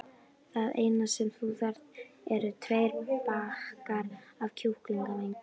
Það eina sem þú þarft eru tveir bakkar af kjúklingavængjum.